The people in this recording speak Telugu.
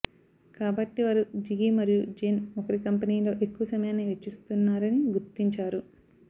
కాబట్టి వారు జిగి మరియు జేన్ ఒకరి కంపెనీలో ఎక్కువ సమయాన్ని వెచ్చిస్తున్నారని గుర్తించారు